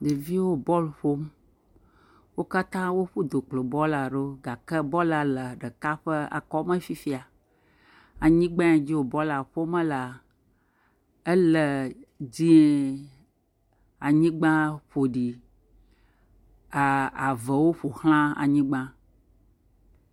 Ɖeviwo bɔlu ƒom. Wo katã woƒu du kplɔ bɔɔla ɖo. Gake bɔɔla le ɖeka ƒe akɔme fifia. Anyigbae dzi wo bɔɔla ƒome lea, ele dziẽ. Anyigba ƒo ɖi, aa avewo ƒo ʋlã anyigba